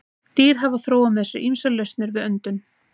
Dýr hafa þróað með sér ýmsar lausnir við öndun.